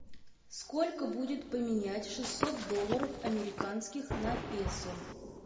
сколько будет поменять шестьсот долларов американских на песо